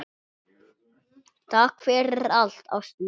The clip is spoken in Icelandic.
Takk fyrir allt, ástin mín.